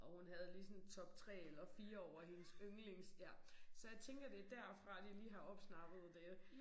Og hun havde lige sådan top 3 eller 4 over hendes yndlings ja så jeg tænker det derfra de lige har opsnappet det